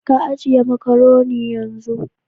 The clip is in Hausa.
ka ajiye makaroni yanzun.